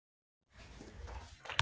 Ljótunn, spilaðu lag.